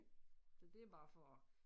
Så det er bare for at